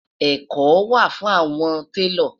ẹkọ wà fún awọn talo